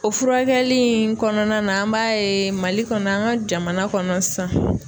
O furakɛli in kɔnɔna na an b'a ye Mali kɔnɔ an ŋa jamana kɔnɔ san